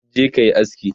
je kayi aski!